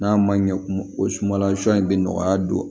N'a ma ɲɛ kumu o sumansi in bɛ nɔgɔya don